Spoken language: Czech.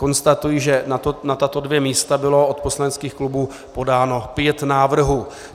Konstatuji, že na tato dvě místa bylo od poslaneckých klubů podáno pět návrhů.